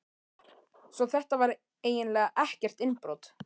Svo þetta var eiginlega ekkert innbrot.